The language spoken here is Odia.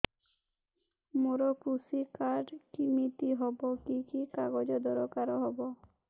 ମୋର କୃଷି କାର୍ଡ କିମିତି ହବ କି କି କାଗଜ ଦରକାର ହବ